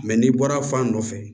n'i bɔra fan dɔ fɛ